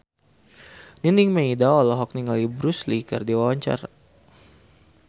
Nining Meida olohok ningali Bruce Lee keur diwawancara